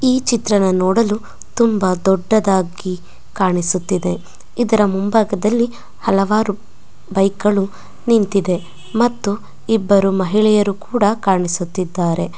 ಈ ಚಿತ್ರಣ ನೋಡಲು ತುಂಬಾ ದೂಡದಾಗಿ ಕಾಣಿಸುತ್ತಿದೆ ಇದರ ಮುಂಭಾಗದಲ್ಲಿ ಹಲವಾರು ಬೈಕ್ಗ ಳು ನಿಂತಿದೆ ಮತ್ತು ಇಬ್ಬರು ಮಹಿಳೆಯರು ಕೂಡ ಕಾಣಿಸುತಿದ್ದಾರೆ.